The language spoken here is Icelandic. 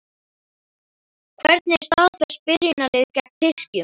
Hvernig er staðfest byrjunarlið gegn Tyrkjum?